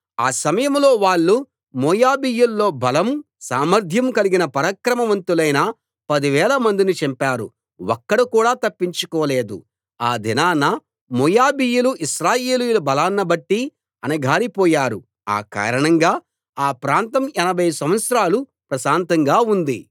ఆ సమయంలో వాళ్ళు మోయాబీయుల్లో బలం సామర్ధ్యం కలిగిన పరాక్రమవంతులైన పదివేల మందిని చంపారు ఒక్కడు కూడా తప్పించుకోలేదు ఆ దినాన మోయాబీయులు ఇశ్రాయేలీయుల బలాన్ని బట్టి అణగారిపోయారు ఆ కారణంగా ఆ ప్రాంతం ఎనభై సంవత్సరాలు ప్రశాంతంగా ఉంది